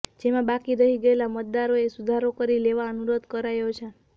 જેમાં બાકી રહી ગયેલા મતદારોએ સુધારો કરી લેવા અનુરોધ કરાયો છે